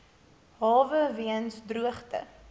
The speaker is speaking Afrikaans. hawe weens droogte